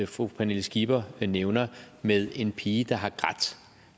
fru pernille skipper nævner med en pige der har grædt